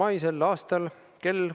Ettekandjale on võimalik esitada küsimusi.